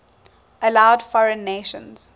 allowed foreign nations